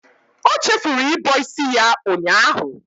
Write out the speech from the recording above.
O chefuru ịbọ isi ya ụnyaahụ.